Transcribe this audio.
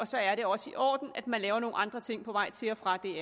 så er det også i orden at man laver nogle andre ting på vej til og fra det